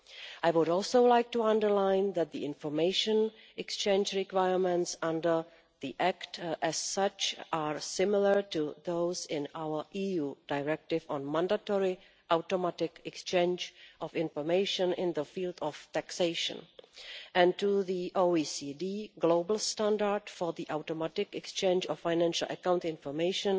I would also like to underline that the information exchange requirements under the Act, as such, are similar to those in our EU directive on mandatory automatic exchange of information in the field of taxation and to the OECD global Standard for Automatic Exchange of Financial Account Information,